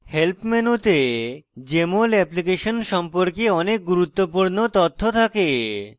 help মেনুতে jmol application সম্পর্কে অনেক গুরুত্বপূর্ণ তথ্য থাকে